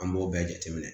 An b'o bɛɛ jateminɛ